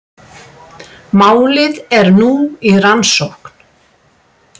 Málið er nú í rannsókn